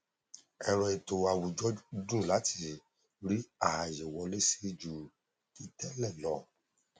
ẹrọ ètò àwùjọ dùn láti rí ààye wọlé sí ju ti tẹẹlẹ lọ